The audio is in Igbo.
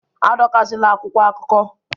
Adọkasịla akwụkwọ akụkọ!